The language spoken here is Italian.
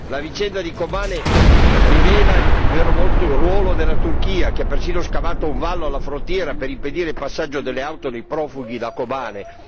La vicenda di Kobane rivela il vero ruolo della Turchia, che ha perfino scavato un vallo alla frontiera per impedire il passaggio delle auto dei profughi da Kobane.